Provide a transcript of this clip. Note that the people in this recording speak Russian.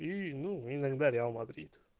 и ну иногда реал мадрид